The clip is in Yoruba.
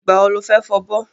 Ìgbà wo lo fẹ́ fọbọ́?